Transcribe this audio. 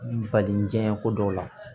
Balijiɲɛ ko dɔw la